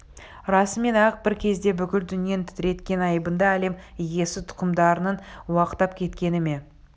расымен-ақ бір кезде бүкіл дүниені тітіреткен айбынды әлем иесітұқымдарының уақтап кеткені ме